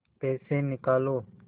पैसे निकालो